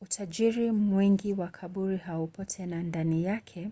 utajiri mwingi wa kaburi haupo tena ndani yake